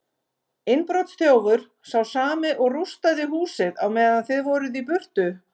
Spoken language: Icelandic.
Innbrotsþjófur, sá sami og rústaði húsið á meðan þið voruð í burtu.